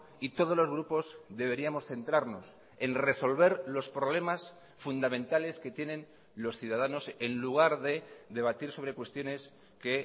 y todos los grupos deberíamos centrarnos en resolver los problemas fundamentales que tienen los ciudadanos en lugar de debatir sobre cuestiones que